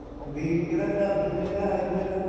ਬੀਜ ਕਿਹੜਾ ਘਰ ਦਾ ਹੀ ਹੈ ਜਾਂ high breed ਆ